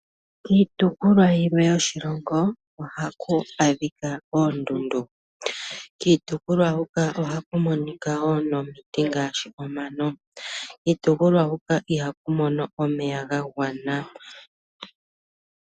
Kiitopolwa yilwe yoshilongo ohaku adhika oondundu. Kiitopolwa huka ohaku monika woo nomiti ngaashi omano. Kiitopolwa huka iha ku mono omeya ga gwana.